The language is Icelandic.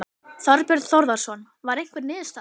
Þorbjörn Þórðarson: Var einhver niðurstaða?